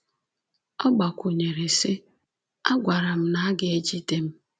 Ọ gbakwụnyere sị: “A gwara m na a ga-ejide m.